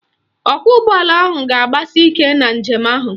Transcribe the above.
Ọkwọụgbọala ahụ ga-agbasi ike na njem ahụ